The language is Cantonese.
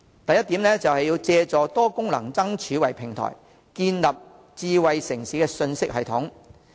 第一，借多功能燈柱為平台，建立智慧城市信息系統。